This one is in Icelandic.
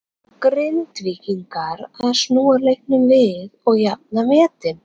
Ná Grindvíkingar að snúa leiknum við og jafna metin?